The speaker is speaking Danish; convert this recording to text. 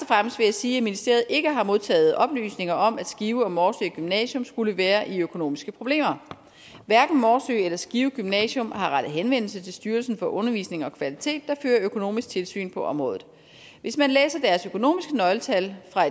sige at ministeriet ikke har modtaget oplysninger om at skive og morsø gymnasium skulle være i økonomiske problemer hverken morsø eller skive gymnasium har rettet henvendelse til styrelsen for undervisning og kvalitet der fører økonomisk tilsyn på området hvis man læser deres økonomiske nøgletal fra